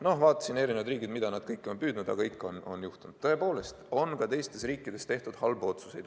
Ma vaatasin eri riike, mida kõike nad on püüdnud, aga ikka on juhtunud, tõepoolest, et ka teistes riikides on tehtud halbu otsuseid.